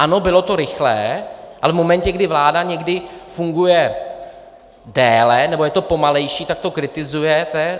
Ano, bylo to rychlé, ale v momentě, kdy vláda někdy funguje déle nebo je to pomalejší, tak to kritizujete.